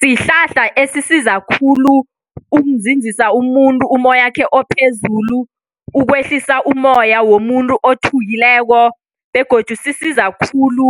Sihlahla esisiza khulu ukunzinzisa umuntu ummoyakhe ophezulu, ukwehlisa ummoya womuntu othukileko begodu sisiza khulu